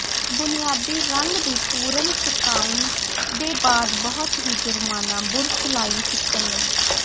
ਬੁਨਿਆਦੀ ਰੰਗ ਦੀ ਪੂਰਨ ਸੁਕਾਉਣ ਦੇ ਬਾਅਦ ਬਹੁਤ ਹੀ ਜੁਰਮਾਨਾ ਬੁਰਸ਼ ਲਾਈਨ ਖਿੱਚਣ ਲਈ